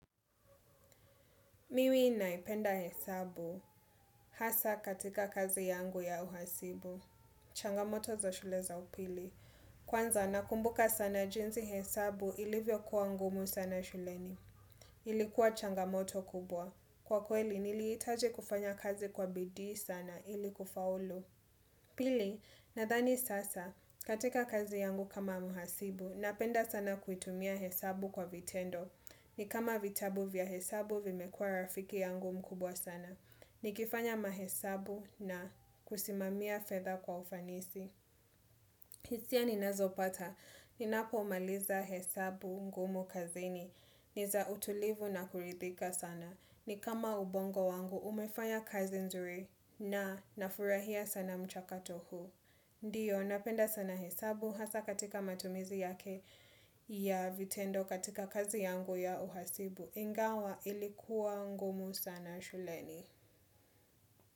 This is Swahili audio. Mimi naipenda hesabu hasa katika kazi yangu ya uhasibu. Changamoto za shule za upili. Kwanza nakumbuka sana jinzi hesabu ilivyo kuwa ngumu sana shuleni. Ilikuwa changamoto kubwa. Kwa kweli nilihitaji kufanya kazi kwa bidii sana ili kufaulu. Pili nathani sasa katika kazi yangu kama mhasibu napenda sana kuitumia hesabu kwa vitendo. Ni kama vitabu vya hesabu vimekua rafiki yangu mkubwa sana. Nikifanya mahesabu na kusimamia fedha kwa ufanisi. Hisia ninazo pata. Ninapomaliza hesabu ngumu kazini. Ni za utulivu na kurithika sana. Ni kama ubongo wangu umefanya kazi nzuri na nafurahia sana mchakato huu. Ndiyo, napenda sana hesabu hasa katika matumizi yake ya vitendo katika kazi yangu ya uhasibu. Ingawa ilikuwa ngumu sana shuleni.